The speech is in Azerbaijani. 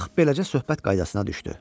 Bax beləcə söhbət qaydasına düşdü.